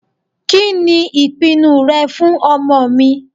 Kìnì ìpinu rẹ fún ọmọ mi?